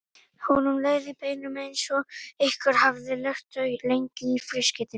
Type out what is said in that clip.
Honum leið í beinunum eins og einhver hefði lagt þau lengi í frystikistu.